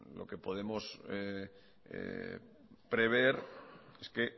lo que podemos prever es que